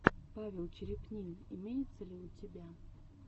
павел черепнин имеется ли у тебя